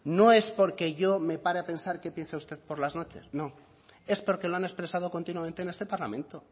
no es porque yo me pare a pensar qué piensa usted por las noches no es porque lo han expresado continuamente en este parlamento